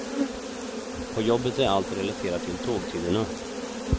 På jobbet är allt relaterat till tågtiderna.